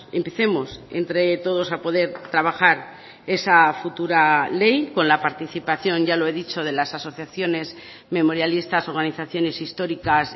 empecemos entre todos a poder trabajar esa futura ley con la participación ya lo he dicho de las asociaciones memorialistas organizaciones históricas